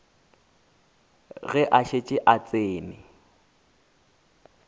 ge a šetše a tsene